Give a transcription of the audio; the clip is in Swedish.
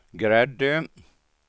Gräddö